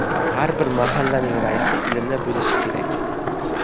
Har bir mahallaning raisi ilmli bo‘lishi kerak.